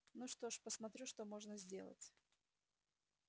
ну что ж посмотрю что можно сделать